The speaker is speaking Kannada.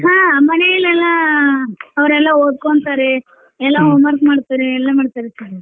ಹಾ ಮನೇಲ್ ಎಲ್ಲಾ ಅವ್ರೆಲ್ಲ ಓದ್ಕೊಂತರಿ ಎಲ್ಲಾ homework ಮಾಡ್ತಾರೀ ಎಲ್ಲಾ ಮಾಡ್ತಾರೀ sir .